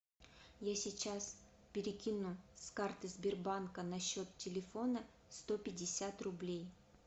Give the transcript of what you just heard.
я сейчас перекину с карты сбербанка на счет телефона сто пятьдесят рублей